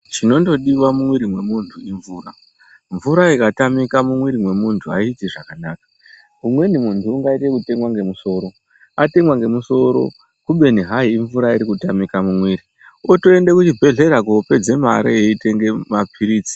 Chinondodiwa mumwiri memuntu imvura, mvura ikatamika mumwiri mwemuntu aiiti zvakanaka umweni muntu ungaite ngekutemwe ngemusoro, atemwa ngemusoro kubeni hai imvura irikutamike mumwiri otoende kuchibhedhlera kunopedze mari eitenge mapirizi.